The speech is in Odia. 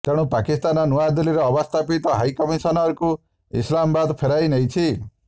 ତେଣୁ ପାକିସ୍ତାନ ନୂଆଦିଲ୍ଲୀରେ ଅବସ୍ଥାପିତ ହାଇକମିସନରଙ୍କୁ ଇସଲାମାବାଦ୍ ଫେରାଇ ନେଇଛି